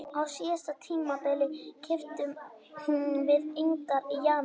Á síðasta tímabili keyptum við engan í janúar.